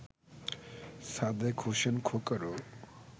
Sadek Hossain খোকারও